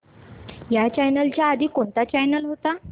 ह्या चॅनल च्या आधी कोणता चॅनल होता